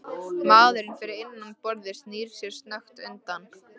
Maðurinn fyrir innan borðið snýr sér snöggt undan.